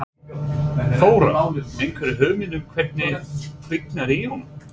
Þóra: Einhverja hugmynd um hvernig kviknaði í honum?